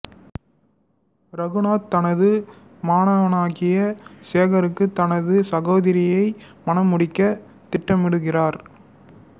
ரகுநாத் தனது மாணவனாகிய சேகருக்கு தனது சகோதரியை மணமுடிக்க திட்டமிடுகிறார்